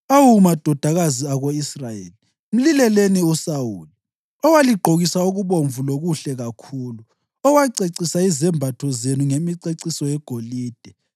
Awu madodakazi ako-Israyeli, mlileleni uSawuli, owaligqokisa okubomvu lokuhle kakhulu, owacecisa izembatho zenu ngemiceciso yegolide.